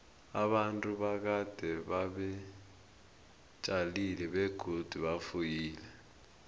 abantu bakade beba tjalile begodu bafuyile